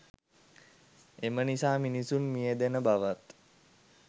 එම නිසා මිනිසුන් මියැදෙන බවත්